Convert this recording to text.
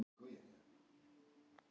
Hann var hæstánægður með afrekið.